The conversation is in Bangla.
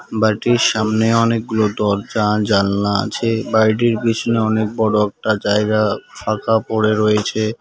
বাড়িটির সামনে অনেকগুলো দরজা জানলা আছে বাড়িটির পিছনে অনেক বড় একটা জায়গা ফাঁকা পরে রয়েছে।